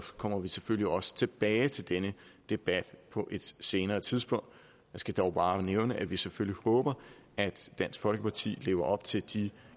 kommer vi selvfølgelig også tilbage til denne debat på et senere tidspunkt jeg skal dog bare nævne at vi selvfølgelig håber at dansk folkeparti lever op til de